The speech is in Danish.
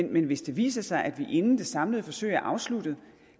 men hvis det viser sig at vi inden det samlede forsøg er afsluttet